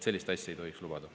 Sellist asja ei tohiks lubada.